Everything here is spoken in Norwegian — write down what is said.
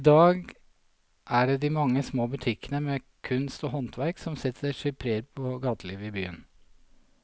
I dag er det de mange små butikkene med kunst og håndverk som setter sitt preg på gatelivet i byen.